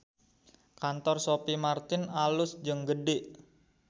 Kantor Sophie Martin alus jeung gede